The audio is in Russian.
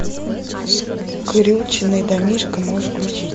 скрюченный домишко можешь включить